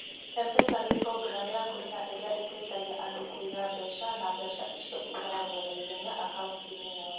M-Pesa nĩ programu ya kũrĩha ĩrĩa ĩteithagia andũ kũiga mbeca na mbeca icio igatwarwo na ihenya akaunti-inĩ yao.